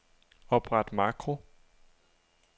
Opret makro.